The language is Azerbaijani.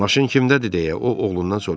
Maşın kimdədir, deyə o oğlundan soruşdu.